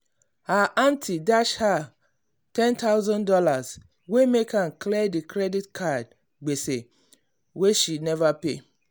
her um aunty dash her um one thousand dollars0 wey help am clear the credit card gbese wey she never pay.